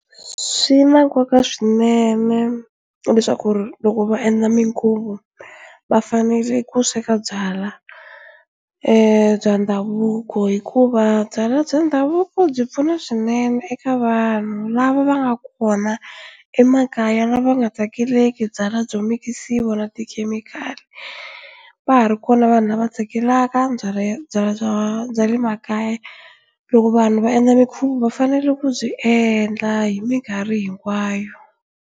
Swi na nkoka swinene leswaku loko va endla minkhuvo va fanele ku sweka byala bya ndhavuko hikuva byalwa bya ndhavuko byi pfuna swinene eka vanhu lava va nga kona emakaya lava va nga tsakeleki byalwa byo mikisiwa na tikhemikhali va ha ri kona vanhu lava tsakelaka byalwa byalwa bya le makaya loko vanhu va endla mikhuva fanele ku byi endla hi mikarhi hinkwayo.